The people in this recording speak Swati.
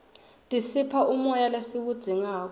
tisipha umoya lesiwudzingako